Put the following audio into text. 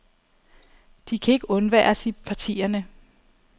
De kan ikke undværes i partierne.